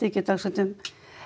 ekki dagsektum